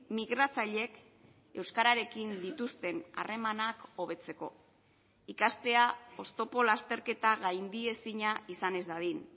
migratzaileek euskararekin dituzten harremanak hobetzeko ikastea oztopo lasterketa gaindiezina izan ez dadin